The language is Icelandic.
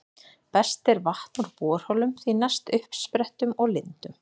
Best er vatn úr borholum, því næst uppsprettum og lindum.